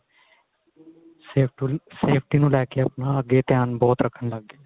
safety safety ਨੂੰ ਲੈ ਕੇ ਆਪਣਾ time ਬਹੁਤ ਰਖਣ ਲੱਗ ਗਏ